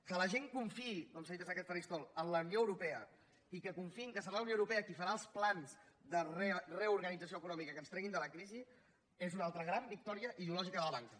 que la gent confiï com s’ha dit des d’aquest faristol en la unió europea i que confiï que serà la unió europea qui farà els plans de reorganització econòmica que ens treguin de la crisi és una altra gran victòria ideològica de la banca